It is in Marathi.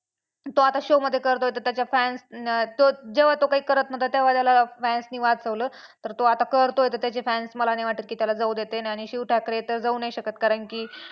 तो आता show मध्ये करतोय तर त्याचे fan ना जेव्हा तो काही करत नव्हता तेव्हा त्याला fans ने वाचवलं तर तो आता करतोय तर त्याचे fans मला नाही वाटत की त्याला जाऊ देतील आणि शिव ठाकरे तर जाऊ नाही शकत कारण की